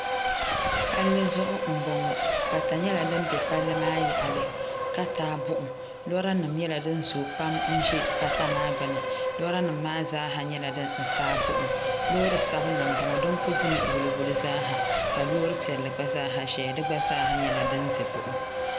Palli zuɣu m boŋɔ pata nyɛla din be palli maa yaɣali ka taagi buɣum lora nima nyɛla din zoo pam m be pata maa gbini lora nima maa zaa nyɛla din taagi buɣum loori sabinli m boŋɔ din kuli dimi wuli wuli zaasaha ka loori piɛlli gba zaaha ʒɛya di gba zaaha nyɛla din di buɣum.